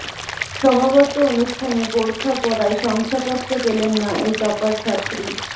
সমাবর্ত অনুষ্ঠানে বোরখা পরায় শংসাপত্র পেলেননা এই টপার ছাত্রী